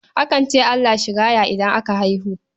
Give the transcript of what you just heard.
Akan ce Allah shi raya idan aka haihu.